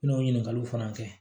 N'o ɲininkaliw fana kɛ